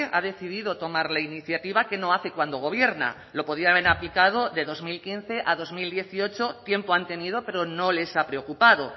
ha decidido tomar la iniciativa que no hace cuando gobierna lo podía haber aplicado de dos mil quince a dos mil dieciocho tiempo han tenido pero no les ha preocupado